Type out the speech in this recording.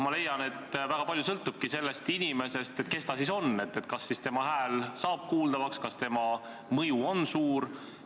Ma leian, et väga palju sõltub sellest inimesest, sellest, kes ta siis on, kas tema hääl saab kuuldavaks, kas tema mõju on suur.